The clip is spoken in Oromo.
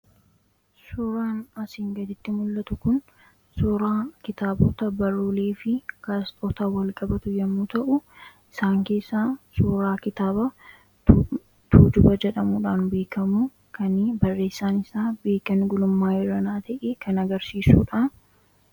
suuraa asiin gaditti mul'atu kun suuraa kitaabota baruulee fi gaasxootaa walqabatu yommuu ta'u isaan keessa suuraa kitaaba tujuba jedhamuudhaan biikamu kan barreessaan isaa biikan gulummaa eranaa ta'i kan agarsiisuudha